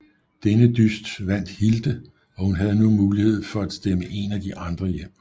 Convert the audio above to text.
Denne dyst vandt Hilde og hun havde nu mulighed for at stemme en af de andre hjem